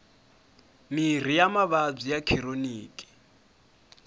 mirhi ya mavabyi ya khironiki